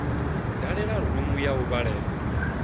dalela rumu ya u vhalela